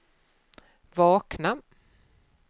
vakna